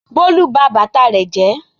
Bólú ba bàtà rẹ̀ jẹ́.